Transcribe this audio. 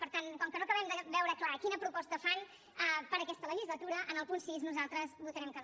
per tant com que no acabem de veure clar quina proposta fan per a aquesta legislatura en el punt sis nosaltres votarem que no